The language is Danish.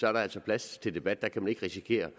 er der altså plads til debat der risikerer